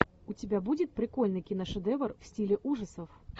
у тебя будет прикольный киношедевр в стиле ужасов